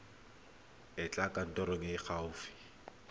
etela kantoro e e gaufi